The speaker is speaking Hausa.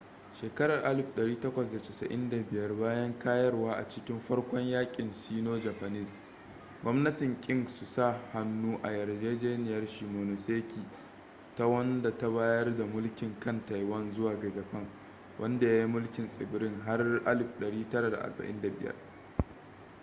a shekarar 1895 bayan kayarwa a cikin farkon yaƙin sino-japanese 1894-1895 gwamnatin qing su sa-hannu a yarjejeniyar shimonoseki ta wanda ta bayar da mulkin kan taiwan zuwa ga japan wanda ya yi mulkin tsibirin har 1945